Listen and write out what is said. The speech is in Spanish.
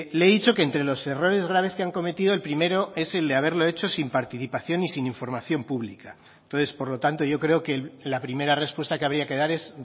le he dicho que entre los errores graves que han cometido el primero es el de haberlo hecho sin participación y sin información pública entonces por lo tanto yo creo que la primera respuesta que habría que dar es